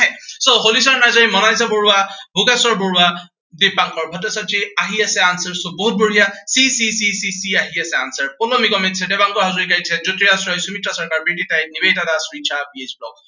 so Holicharan Narzary, Monalisa Baruah, Bhogeswar Baruah, Dipankar Bhattacharya. আহি আছে answer so বহুত বঢ়িয়া। c c c c c c আহি আছে, answer পুৰ্ণ নিগমে দিছে, দিপাংকৰ হাজৰিকাই দিছে, জ্য়োতিৰাজ ৰয়, সুমিত্ৰা হাজৰিকাই দিছে, Nibedita Das, Richa, B H blog